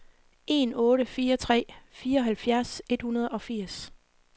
en otte fire tre fireoghalvfjerds et hundrede og firs